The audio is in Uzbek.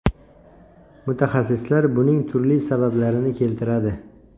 Mutaxassislar buning turli sabablarini keltiradi.